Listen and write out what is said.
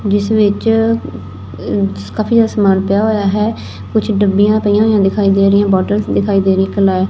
ਜਿਸ ਵਿੱਚ ਕਾਫੀ ਜਿਆਦਾ ਸਮਾਨ ਪਿਆ ਹੋਇਆ ਹੈ ਕੁਝ ਡੱਬੀਆਂ ਪਈਆਂ ਹੋਈਆਂ ਦਿਖਾਈ ਦੇ ਰਹੀਆਂ ਬਾਟਲਸ ਦਿਖਾਈ ਦੇ ਰਹੀ ਕੱਲਾ ਏ--